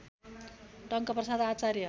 Tankaprasad Acharya